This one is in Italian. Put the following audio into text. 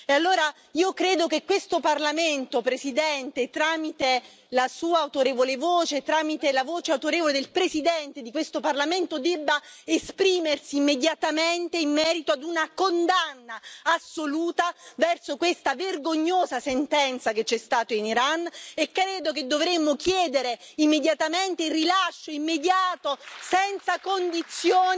Allora io credo che questo Parlamento, Presidente, tramite la Sua autorevole voce, tramite la voce autorevole del Presidente di questo Parlamento, debba esprimersi immediatamente in merito ad una condanna assoluta verso questa vergognosa sentenza che c'è stata in Iran, e credo che dovremmo chiedere immediatamente il rilascio immediato e senza condizioni